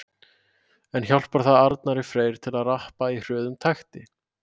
En hjálpar það Arnari Frey til að rappa í hröðum takti?